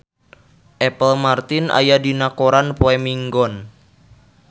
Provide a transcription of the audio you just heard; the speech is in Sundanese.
Apple Martin aya dina koran poe Minggon